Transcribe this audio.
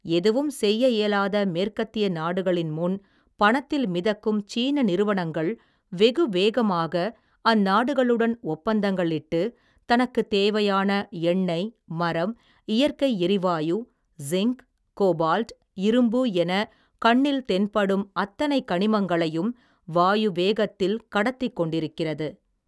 எதுவும் செய்ய இயலாத மேற்கத்திய நாடுகளின் முன் பணத்தில் மிதக்கும் சீன நிறுவனங்கள் வெகு வேகமாக அந்நாடுகளுடன் ஒப்பந்தங்களிட்டு தனக்குத் தேவையான எண்ணெய் மரம் இயற்கை எரிவாயு ஸின்க் கோபால்ட் இரும்பு எனக் கண்ணில் தென்படும் அத்தனை கனிமங்களையும் வாயு வேகத்தில் கடத்திக் கொண்டிருக்கிறது.